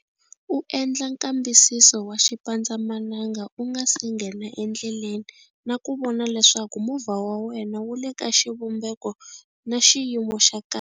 U endla nkambisiso wa xipandzamananga u nga si nghena endleleni na ku vona leswaku movha wa wena wu le ka xivumbeko na xiyimo xa kahle.